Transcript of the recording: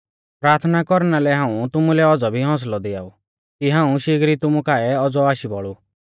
प्राथना कौरना लै हाऊं तुमुलै औज़ौ भी हौसलौ दियाऊ कि हाऊं शिगरी तुमु काऐ औज़ौ आशी बौल़ु